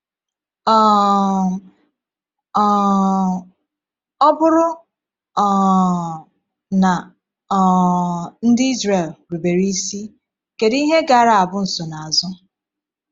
um um Ọ bụrụ um na um ndị Izrel rubere isi, kedu ihe gaara abụ nsonaazụ?